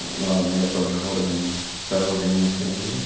ладно я в том же городе но все равно ты мне нихуя не сделаешь